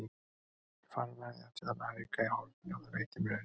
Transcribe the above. Ég fann að ég átti þarna hauka í horni og það veitti mér öryggi.